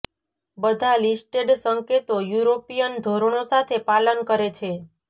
બધા લિસ્ટેડ સંકેતો યુરોપિયન ધોરણો સાથે પાલન કરે છે